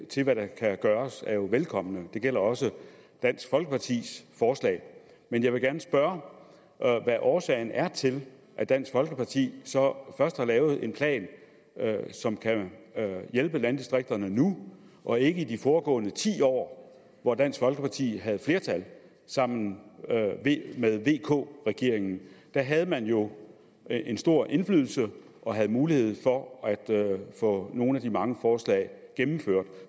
til hvad der kan gøres er jo velkomne det gælder også dansk folkepartis forslag men jeg vil gerne spørge hvad årsagen er til at dansk folkeparti så først nu har lavet en plan som kan hjælpe landdistrikterne og ikke i de foregående ti år hvor dansk folkeparti havde flertal sammen med vk regeringen der havde man jo en stor indflydelse og havde mulighed for at få nogle af de mange forslag gennemført